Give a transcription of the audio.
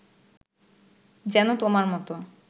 যেন তোমার মতো